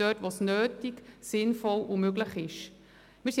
dort wo es nötig, sinnvoll und möglich ist.